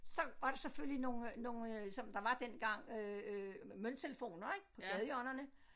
Så var der selvfølgelig nogle nogle som der var dengang øh æh mønttelefoner ik på gadehjørnerne